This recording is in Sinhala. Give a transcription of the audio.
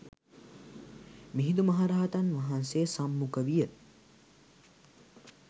මිහිඳු මහරහතන් වහන්සේ සම්මුඛ විය.